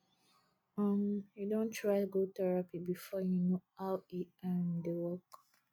um you don try go therapy before you know how e um dey work